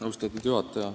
Austatud juhataja!